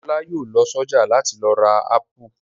Ọlá yóò lọ sọ́jà láti lọ ra ápù.